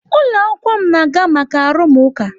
Ụlọ akwụkwọ m na-aga maka arụmụka.